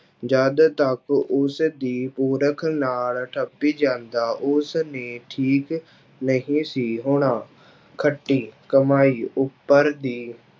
ਜਦ ਤੱਕ ਉਸਦੀ ਨਾਲ ਠੱਪੀ ਜਾਂਦਾ ਉਸ ਨੇ ਠੀਕ ਨਹੀਂ ਸੀ ਹੋਣਾ, ਖੱਟੀ ਕਮਾਈ ਉੱਪਰ ਦੀ